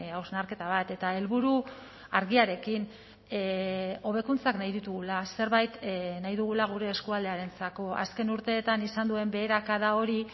hausnarketa bat eta helburu argiarekin hobekuntzak nahi ditugula zerbait nahi dugula gure eskualdearentzako azken urteetan izan duen beherakada hori